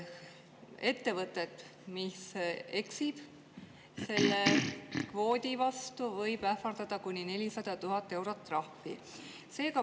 Ettevõtet, mis eksib selle kvoodi vastu, võib ähvardada kuni 400 000-eurone trahv.